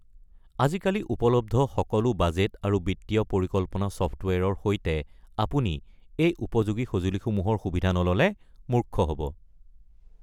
আজিকালি উপলব্ধ সকলো বাজেট আৰু বিত্তীয় পৰিকল্পনা চফ্টৱেৰৰ সৈতে, আপুনি এই উপযোগী সঁজুলিসমূহৰ সুবিধা নল’লে মূৰ্খ হ’ব৷